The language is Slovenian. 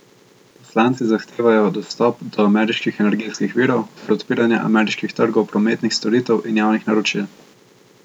Poslanci zahtevajo dostop do ameriških energetskih virov ter odpiranje ameriških trgov prometnih storitev in javnih naročil.